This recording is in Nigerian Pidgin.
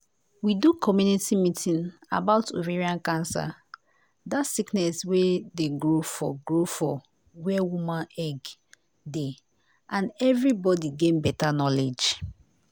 we do community meeting about ovarian cancer dat sickness wey dey grow for grow for where woman egg dey and everibodi gain beta knowledge.